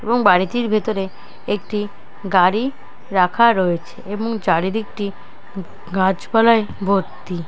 এবং বাড়িটির ভেতরে একটি গাড়ি রাখা রয়েছে এবং চারিদিক টি গাছপালাই ভর্তি।